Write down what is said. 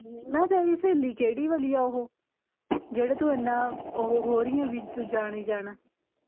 ਨਾ ਤੇਰੀ ਸਹੇਲੀ ਕਿਹੜੀ ਵਾਲੀ ਆ ਜਿਹੜੀ ਤੂੰ ਏਨਾਂ ਉਹ ਹੋ ਰਹੀ ਐ ਵੀ ਤੂੰ ਜਾਣਾ ਈ ਜਾਣਾ